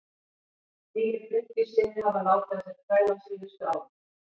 Nýir drykkjusiðir hafa látið á sér kræla á síðustu árum.